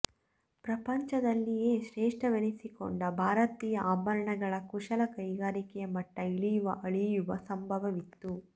ಪ್ರಪಂಚದಲ್ಲಿಯೇ ಶ್ರೇಷ್ಠವೆನಿಸಿಕೊಂಡ ಭಾರತೀಯ ಆಭರಣಗಳ ಕುಶಲ ಕೈಗಾರಿಕೆಯ ಮಟ್ಟ ಇಳಿಯುವ ಅಳಿಯುವ ಸಂಭವವಿತ್ತು